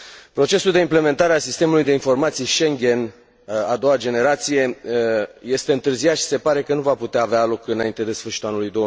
Procesul de implementare a Sistemului de informații Schengen de a doua generație este întârziat și se pare că nu va putea avea loc înainte de sfârșitul anului